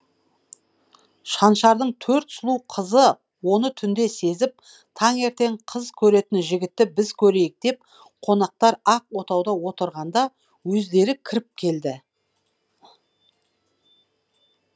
шаншардың төрт сұлу қызы оны түнде сезіп таңертең қыз көретін жігітті біз көрейік деп қонақтар ақ отауда отырғанда өздері кіріп келді